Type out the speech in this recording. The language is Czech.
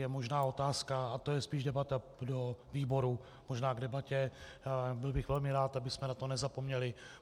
Je možná otázka, a to je spíš debata do výboru, možná k debatě - byl bych velmi rád, abychom na to nezapomněli.